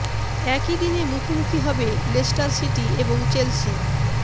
একই দিনে মুখোমুখি হবে লেস্টার সিটি এবং চেলসি